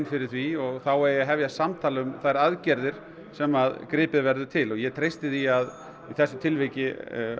fyrir því og þá eigi að hefjast samtal um þær aðgerðir sem gripið verði til og ég treysti því að í þessu tilviki